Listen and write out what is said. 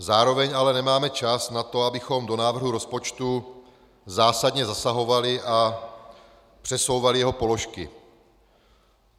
Zároveň ale nemáme čas na to, abychom do návrhu rozpočtu zásadně zasahovali a přesouvali jeho položky.